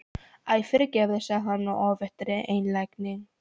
Æ, fyrirgefðu sagði hann af óvæntri einlægni.